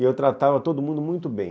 E eu tratava todo mundo muito bem.